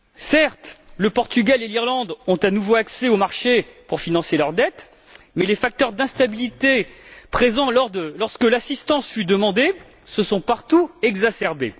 Certes, le Portugal et l'Irlande ont à nouveau accès au marché pour financer leur dette mais les facteurs d'instabilité présents lorsque l'assistance fut demandée se sont partout exacerbés.